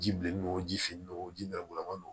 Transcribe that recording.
Ji bilennen don ji finnen don o ji nɛrɛgulaw